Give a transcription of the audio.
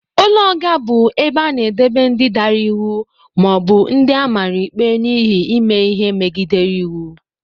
Ụlọ nga bụ ebe a na-edebe ndị dara iwu ma ọ bụ ndị amara ikpe n'ihi ime ihe megidere iwu.